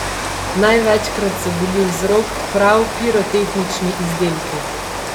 Največkrat so bili vzrok prav pirotehnični izdelki.